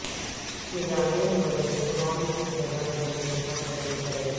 کرایہ پر ریستوران کی جگہ کا انتخاب کیسے کریں